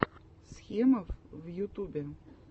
схемов в ютубе